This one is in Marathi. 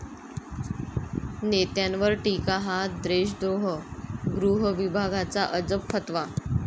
नेत्यांवर टीका हा देशद्रोह?, गृहविभागाचा अजब फतवा